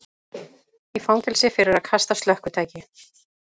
Í fangelsi fyrir að kasta slökkvitæki